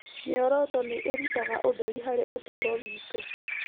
Mĩoroto nĩ ĩrutaga ũtheri harĩ ũtũũro witũ.